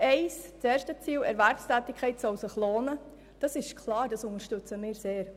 Das erste Ziel, wonach sich Erwerbstätigkeit lohnen soll, unterstützen wir sehr.